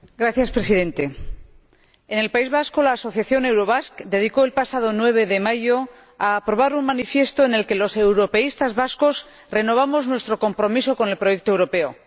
Señor Presidente, en el País Vasco, la asociación Eurobask dedicó el pasado 9 de mayo a aprobar un manifiesto en el que los europeístas vascos renovamos nuestro compromiso con el proyecto europeo.